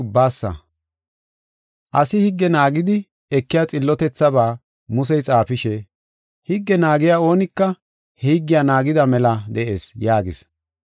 Asi higge naagidi ekiya xillotethabaa Musey xaafishe, “Higge naagiya oonika he higgiya naagida mela de7ees” yaagis.